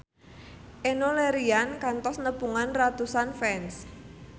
Enno Lerian kantos nepungan ratusan fans